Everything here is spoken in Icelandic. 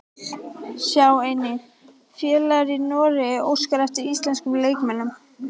Sjá einnig: Félag í Noregi óskar eftir íslenskum leikmönnum